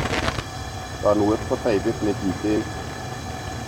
Toonuet ko taipit ne kiten